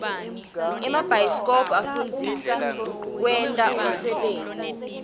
emabhayisikobho afundzisa kwenta unsebenti